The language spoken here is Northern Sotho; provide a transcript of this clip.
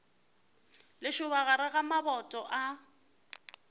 lešoba gare ga maboto a